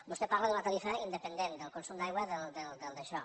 vostè parla d’una tarifa independent del consum d’aigua del daixò